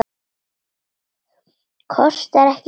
Kostar ekki mikið.